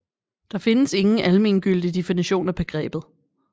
Der findes ingen almengyldig definition af begrebet